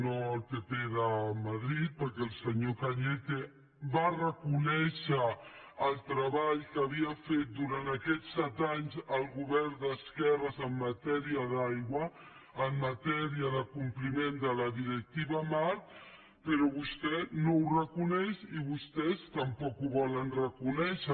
no el pp de madrid perquè el senyor cañete va reconèixer el treball que havia fet durant aquests set anys el govern d’esquerres en matèria d’aigua en matèria de compliment de la directiva marc però vostè no ho reconeix i vostès tampoc ho volen reconèixer